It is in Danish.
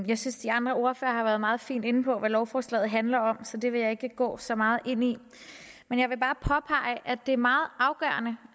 jeg synes de andre ordførere har været meget fint inde på hvad lovforslaget handler om så det vil jeg ikke gå så meget ind i men jeg vil bare påpege at det er meget afgørende